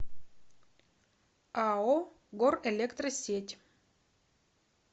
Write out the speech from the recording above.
ао горэлектросеть